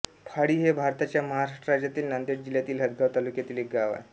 फाळी हे भारताच्या महाराष्ट्र राज्यातील नांदेड जिल्ह्यातील हदगाव तालुक्यातील एक गाव आहे